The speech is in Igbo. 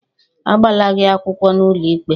Agbala gị akwụkwọ n'ụlọikpe?